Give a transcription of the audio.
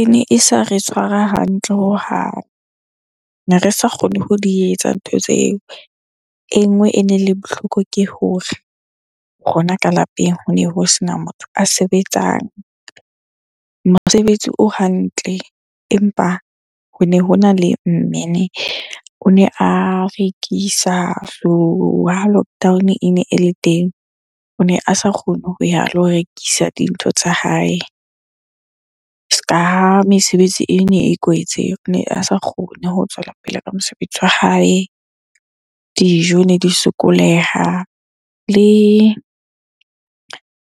Ene e sa re tshwara hantle hohang, ne re sa kgone ho di etsa ntho tseo. E nngwe ene le bohloko ke hore rona ka lapeng hone ho sena motho a sebetsang mosebetsi o hantle. Empa hone hona le mme ne, o ne a rekisa so ha lockdown-o ene e le teng. O ne a sa kgone ho ya lo rekisa dintho tsa hae. Se ka ha mesebetsi ene e kwetse, ne a sa kgone ho tswela pele ka mosebetsi wa hae. Dijo ne di sokoleha le